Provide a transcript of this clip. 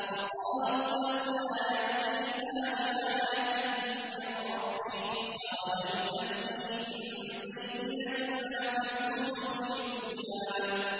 وَقَالُوا لَوْلَا يَأْتِينَا بِآيَةٍ مِّن رَّبِّهِ ۚ أَوَلَمْ تَأْتِهِم بَيِّنَةُ مَا فِي الصُّحُفِ الْأُولَىٰ